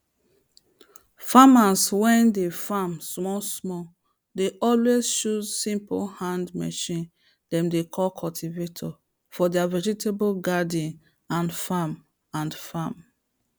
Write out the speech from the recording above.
farmers way dey farm small small dey alway chose simple hand machine dem dey call cultivator for their vegetable garden and farm and farm